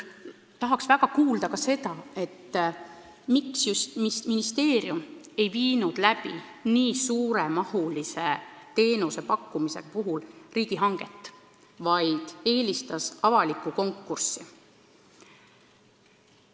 Tahaks väga kuulda ka seda, miks ministeerium ei viinud nii suure mahuga teenusepakkumise puhul läbi riigihanget, vaid eelistas avalikku konkurssi.